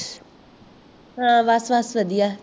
ਹਾਂ ਬਸ ਬਸ ਬਦਿਆ